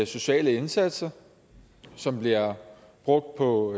sociale indsatser som bliver brugt på